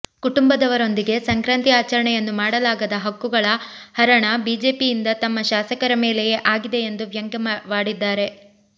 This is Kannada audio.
ಕುಟುಂಬದವರೊಂದಿಗೆ ಸಂಕ್ರಾಂತಿ ಆಚರಣೆಯನ್ನೂ ಮಾಡಲಾಗದ ಹಕ್ಕುಗಳ ಹರಣ ಬಿಜೆಪಿಯಿಂದ ತಮ್ಮ ಶಾಸಕರ ಮೇಲೆಯೇ ಆಗಿದೆ ಎಂದು ವ್ಯಂಗ್ಯವಾಡಿದ್ದಾರೆ